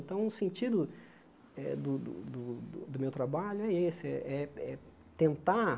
Então, o sentido eh do do do do meu trabalho é esse, eh eh é tentar